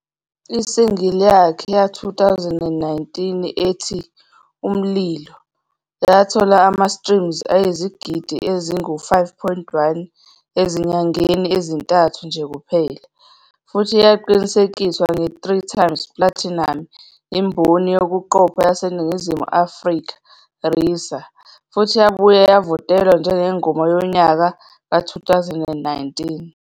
I-single yakhe ye-2019 ethi "Umlilo" yathola ama-streams ayizigidi ezingu-5.1 ezinyangeni ezintathu nje kuphela, futhi yaqinisekiswa nge-3x platinum imboni yokuqopha yaseNingizimu Afrika, RISA, futhi yabuye yavotelwa njengeNgoma Yonyaka ka-2019.